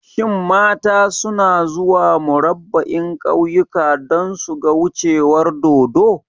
Shin mata suna zuwa Murabba'in kauyuka don suga wucewar dodo?